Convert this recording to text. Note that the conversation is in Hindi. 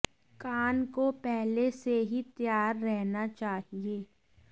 कान को पहले से ही तैयार रहना चाहिए